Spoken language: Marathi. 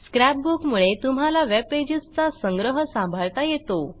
स्क्रॅप बुक मुळे तुम्हाला वेबपेजेसचा संग्रह सांभाळता येतो